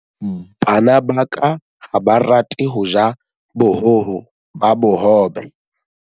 Bana ba ka ha ba rate ho ja bohoho ba bohobe.